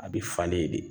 A bɛ falen de